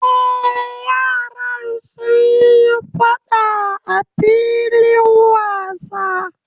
Eh, yaran suyi faɗa a filin wasa